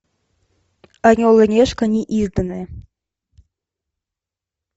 орел и решка неизданное